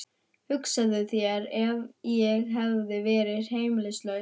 Hugsaðu þér ef ég hefði verið heimilislaus.